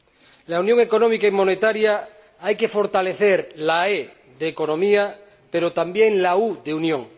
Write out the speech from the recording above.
De la Unión Económica y Monetaria hay que fortalecer la e de economía, pero también la u de unión.